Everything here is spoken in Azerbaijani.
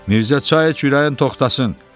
Mirzə çay iç, ürəyin toxtasın.